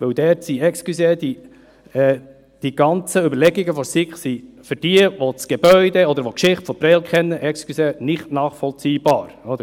Dort sind die ganzen Überlegungen der SiK für jene, welche das Gebäude oder die Geschichte von Prêles kennen – entschuldigen Sie – nicht nachvollziehbar sind.